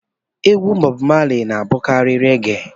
Egwu Bọb Mali na-abụkarị regee